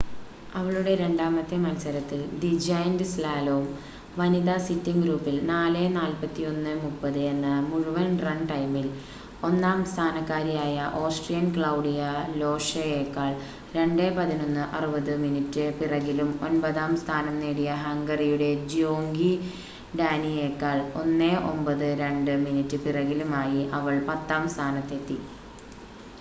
അവളുടെ രണ്ടാമത്തെ മത്സരത്തിൽ ദി ജയന്റ് സ്ലാലോം വനിതാ സിറ്റിംഗ് ഗ്രൂപ്പിൽ 4:41.30 എന്ന മുഴുവൻ റൺ ടൈമിൽ ഒന്നാം സ്ഥാനക്കാരിയായ ഓസ്‌ട്രിയൻ ക്ലൗഡിയ ലോഷയേക്കാൾ 2:11.60 മിനിറ്റ് പിറകിലും ഒൻപതാം സ്ഥാനം നേടിയ ഹംഗറിയുടെ ജ്യോങ്കി ഡാനിയേക്കാൾ 1:09.02 മിനിറ്റ് പിറകിലുമായി അവൾ പത്താം സ്ഥാനത്തെത്തി